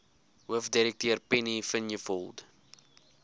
hoofdirekteur penny vinjevold